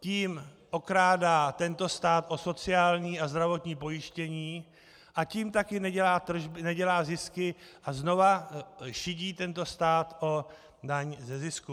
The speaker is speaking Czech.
Tím okrádá tento stát o sociální a zdravotní pojištění a tím také nedělá zisky a znovu šidí tento stát o daň ze zisku.